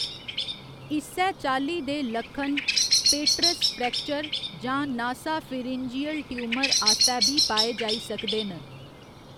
इस्सै चाल्ली दे लक्खन पेट्रस फ्रैक्चर जां नासाफिरिन्जियल ट्यूमर आस्तै बी पाए जाई सकदे न।